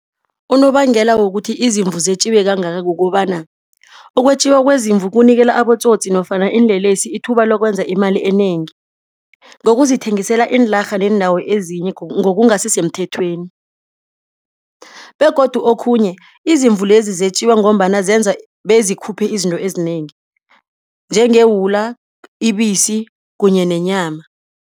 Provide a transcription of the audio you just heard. Unobangela wokuthi izimvu zetjiwe kangaka kukobana ukwetjiwa kwezimvu kunikela abotsotsi nofana iinlelesi ithuba lokwenza imali enengi. Ngokuzithengisela iinlarha neendawo ezinye ngokungasisemthethweni begodu okhunye izimvu lezi zetjiwa ngombana zenza bezikhuphe izinto ezinengi njengewula, ibisi kunye nenyama.